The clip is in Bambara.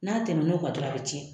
N'a tɛmɛn'o kan dɔrɔn a bɛ tiɲɛ.